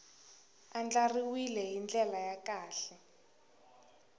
andlariwile hi ndlela ya kahle